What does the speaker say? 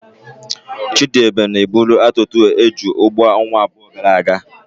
Chidiebube na-eburu atuta eju n'ugbo ọnwa abụọ gara aga.